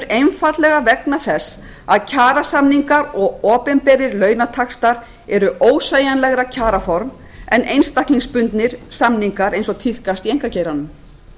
einfaldlega vegna þess að kjarasamningar og opinberir launataxtar eru ósveigjanlegra kjaraform en einstaklingsbundnir samningar eins og tíðkast í einkageiranum